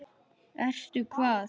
Ertu hvað?